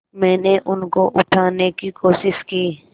मैंने उनको उठाने की कोशिश की